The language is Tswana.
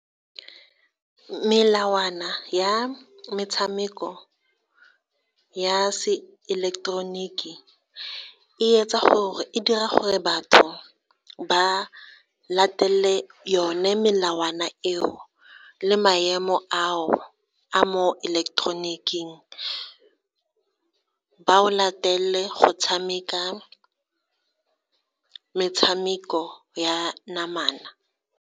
Melawana ya metshameko ya se eleketeroniki, e dira gore batho ba latelele one melawana eo, le maemo ao, a mo eleketeroniking, ba o latelele go tshameka metshameko ya namana.